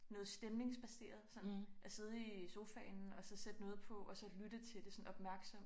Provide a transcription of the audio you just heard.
Noget stemningsbaseret sådan at sidde i sofaen og så sætte noget på og så lytte til det sådan opmærksomt